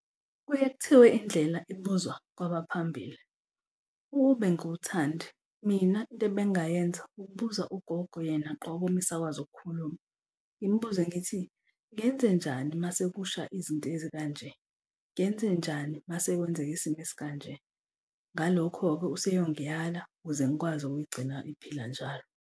Kuye kuthiwe indlela ibuzwa kwabaphambili. Ukube ngiwuThandi, mina into ebengingayenza ukubuza ugogo yena qobo uma esakwazi ukukhuluma. Ngimbuze ngithi, ngenzenjani uma sekusha izinto ezikanje? Ngenzenjani uma sekwenzeka isimo esikanje? Ngalokho-ke useyongiyala ukuze ngikwazi ukuyigcina iphila njalo.